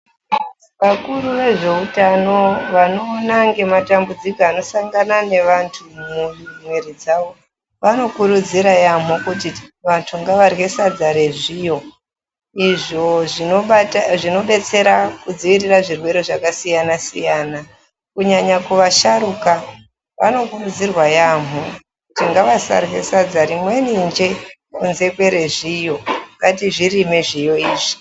Vakuru vezveutano vanoona ngematambudziko anosanga nevantu mumwiiri dzavo, vanokurudzira yaamho kuti vantu ngavarye sadza rezviyo, izvo zvinobate, zvinobetsera kudziirira zvirwere zvakasiyana-siyana. Kunyanya kuvasharuka vanokurudzirwa yaamho, kuti ngavasarye sadza rimweni njee, kunze kwerezviyo. Ngatizvirime zviyo izvi.